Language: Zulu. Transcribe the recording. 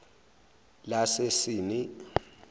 lasesini